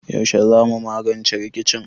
Yaushe za mu magance rikicin?